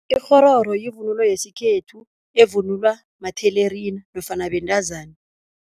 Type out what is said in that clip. Ikghororo yivunulo yesikhethu evunulwa mathelerina nofana bentazana.